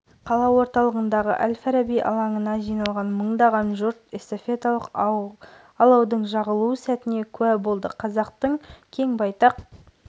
александр зайчиков рио-де-жанейро олимпиадасының қола жүлдегері элизабет тұрсынбаева жасөспірімдер арасындағы қысқы олимпиада ойындарының қола жүлдегері авторлары